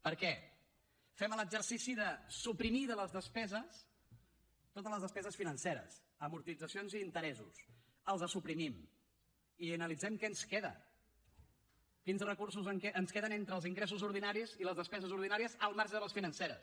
per què fem l’exercici de suprimir de les despeses totes les despeses financeres amortitzacions i interessos els suprimim i analitzem què ens queda quins recursos ens queden entre els ingressos ordinaris i les despeses ordinàries al marge de les financeres